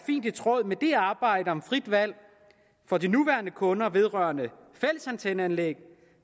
fint i tråd med det arbejde om frit valg for de nuværende kunder vedrørende fællesantenneanlæg